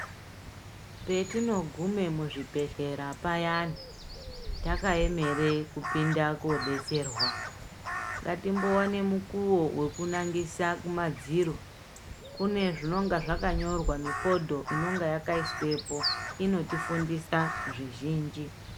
Petinogume muzvibhehlera payani, takaemere kupinda kodetserwa, ngatimbowane mukuwo wekunangisa kumadziro, kune zvinonga zvakanyorwa mifodho inenge yakaiswepo inotifundisa zvizhinji.